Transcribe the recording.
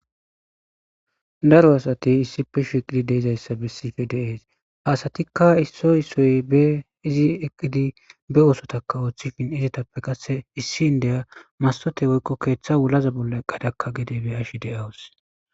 Daro asati issipe shiqidi deezayssa bessife deees haasatikka issoy issoy be izi eqqidi be oosotaka ooththifhin izetappe qasse issin deya masote woykko keeththa wulaza bolla qadakka gide be ashi de7awus